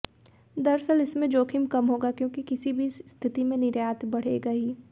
दरअसल इसमें जोखिम कम होगा क्योंकि किसी भी स्थिति में निर्यात बढ़ेगा ही